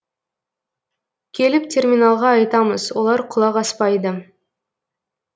келіп терминалға айтамыз олар құлақ аспайды